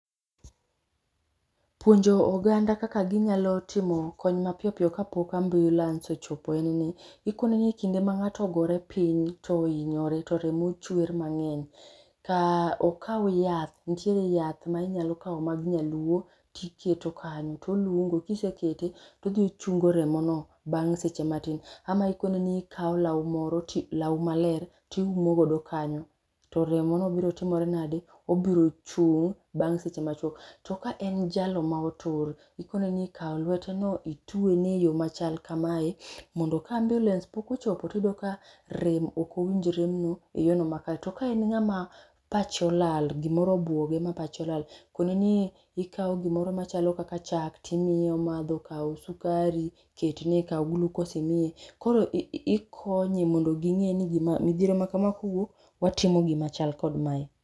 Puonjo oganda kaka ginyalo timo kony mapiyo piyo kapok ambiulens ochopo en ni, ikone ni kinde ma ng'ato ogopre piny to ihinyore to remo chwer mang'eny, kaa okaw yath nitiere yath ma inyalo kawo mag nyaluo tiketo kanyo tolungo. Kisekete tochungo remono bang' seche matin, ama ikone ni ikawo law moro ti law maler tiumo godo kanyo to remono biro timore nade, obiro chung' eh bang' seche machuok. To ka en jalo ma otur, ikone ni kaw lweteno itwene eyo machal kamae mondo ka ambiulens pok ochopo to iyudo ka rem ok owinj rem no eyorno makare to ka en ng'ama pache olal, gimoro obuoge ma pache olal, kone ni ikawo gimoro machalo kaka chak to imiye omadho, kaw sukari ketne, kaw glukos imiye. Koro ikonye mondo ging'e ni gima midhiero ma kamae kowuok, to watimo gima chal kod mae.